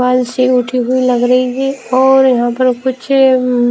बाल से उठी हुई लग रही है और यहां पर कुछ ऊ--